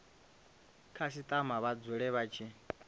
khasitama vha dzule vha tshi